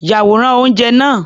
Ya àwòrán oúnjẹ náà.